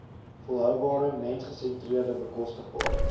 volhoubare mensgesentreerde bekostigbare